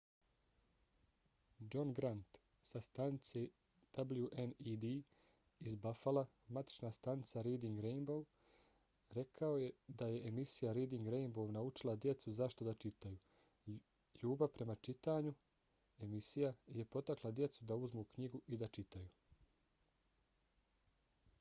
john grant sa stanice wned iz buffala matična stanica reading rainbow rekao je da je emisija reading rainbow naučila djecu zašto da čitaju...ljubav prema čitanju - [emisija] je potakla djecu da uzmu knjigu i da čitaju.